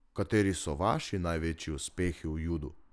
Kateri so vaši največji uspehi v judu?